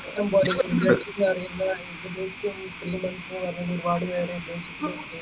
ഇഷ്ടംപോലെ ഇണ്ട് എനിക്കറിയുന്ന ഏകദേശം ഒരുപാട് പേര് internship